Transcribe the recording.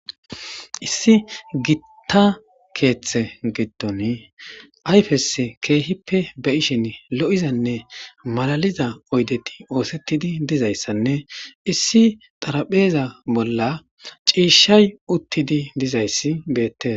Issi giita kethe gidoni ayfesi kehipe beyishini lo'izanne malaliza oydeti oosetidi dizaysanne issi xarapheza bolla cishay uttidi dizaysi beetes